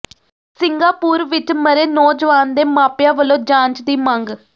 Singapore ਵਿੱਚ ਮਰੇ ਨੌਜਵਾਨ ਦੇ ਮਾਪਿਆਂ ਵੱਲੋਂ ਜਾਂਚ ਦੀ ਮੰਗ